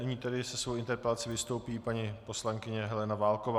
Nyní tedy se svou interpelací vystoupí paní poslankyně Helena Válková.